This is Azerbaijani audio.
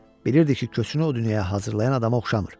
B bilirdi ki, köçünü o dünyaya hazırlayan adama oxşamır.